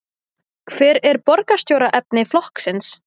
Hver er borgarstjóraefni flokksins?